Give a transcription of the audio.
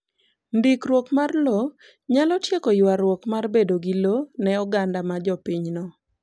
Ndikruok mar lowo nyalo tieko ywarruok mar bedo gi lowo ne oganda ma jopinyno.